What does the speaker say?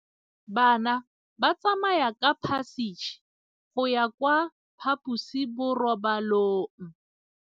Bana ba tsamaya ka phašitshe go ya kwa phaposiborobalong.